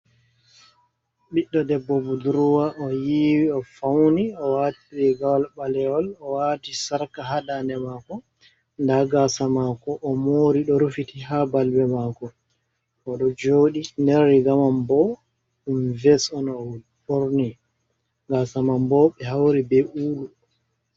Ɓiɗɗo debbo budruwa o yiiwi, o fawni, o waati riigawol ɓalewol, o waati sarqa ha daande maako, nda gaasa maako, o moori ɗo rufiti ha balbe maako, o ɗo jooɗi nerigamam bo ɗum ves on o ɓorni, gaasa man bo ɓe hauri be quulu.